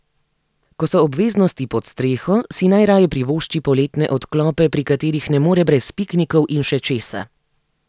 Ko so obveznosti pod streho, si najraje privošči poletne odklope, pri katerih ne more brez piknikov in še česa.